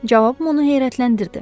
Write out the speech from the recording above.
Cavabım onu heyrətləndirdi.